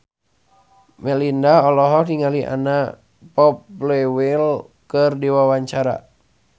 Melinda olohok ningali Anna Popplewell keur diwawancara